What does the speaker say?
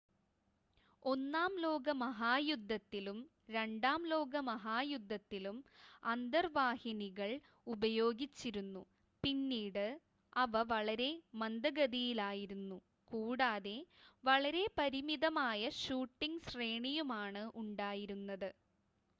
ഒന്നാം ലോകമഹായുദ്ധത്തിലും രണ്ടാം ലോക മഹായുദ്ധത്തിലും അന്തർവാഹിനികൾ ഉപയോഗിച്ചിരുന്നു പിന്നീട് അവ വളരെ മന്ദഗതിയിലായിരുന്നു കൂടാതെ വളരെ പരിമിതമായ ഷൂട്ടിംഗ് ശ്രേണിയുമാണ് ഉണ്ടായിരുന്നത്